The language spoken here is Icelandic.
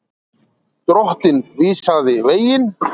Drottinn vísaði veginn.